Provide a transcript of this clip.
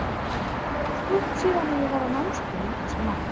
Það er stutt síðan að ég var á námskeiði um þessi mál.